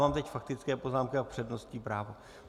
Mám teď faktické poznámky a přednostní práva.